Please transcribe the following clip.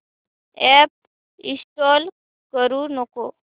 app install करू नको